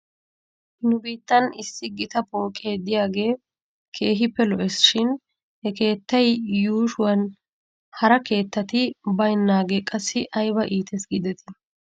Nu biittan issi gita pooqe diyaagee keehippe lo'es shin he keettaa yuushuwan hara keettati baynaagee qassi ayba iites giidetii ?